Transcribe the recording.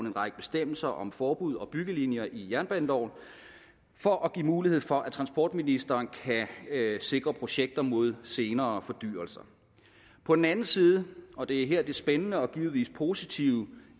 en række bestemmelser om forbud og byggelinjer i jernbaneloven for at give mulighed for at transportministeren kan sikre projekter mod senere fordyrelser på den anden side og det er her det spændende og givetvis positive